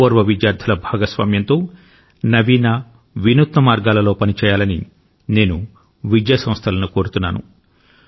పూర్వ విద్యార్థుల భాగస్వామ్యంతో నవీన వినూత్న మార్గాలలో పని చేయాలని నేను విద్యా సంస్థలను కోరుతున్నాను